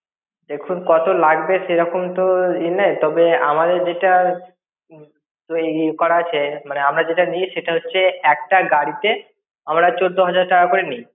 দেখুন কত লাগবে সেরকম তো ই নেই তবে, আমাদের যেটা ~ওই করা আছে, মানে আমরা যেটা নি সেটা হচ্ছে, একটা গাড়িতে আমরা চোদ্দ হাজার টাকা করে নি।